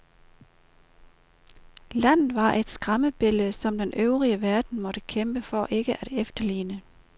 Landet var et skræmmebillede, som den øvrige verden måtte kæmpe for ikke at efterligne.